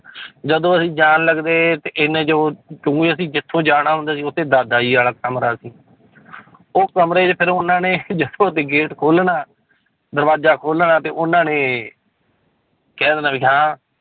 ਜਦੋਂ ਅਸੀਂ ਜਾਣ ਲੱਗਦੇ ਤੇ ਇੰਨੇ 'ਚ ਉਹ ਕਿਉਂਕਿ ਅਸੀਂ ਜਿੱਥੋਂ ਜਾਣਾ ਹੁੰਦਾ ਸੀ ਉੱਥੇ ਦਾਦਾ ਜੀ ਵਾਲਾ ਕਮਰਾ ਸੀ ਉਹ ਕਮਰੇ 'ਚ ਫਿਰ ਉਹਨਾਂ ਨੇ ਜਦੋਂ ਅਸੀਂ gate ਖੋਲਣਾ, ਦਰਵਾਜ਼ਾ ਖੋਲਣਾ ਤੇ ਉਹਨਾਂ ਨੇ ਕਹਿ ਦੇਣਾ ਵੀ ਹਾਂ